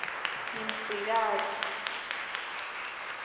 ngimsikati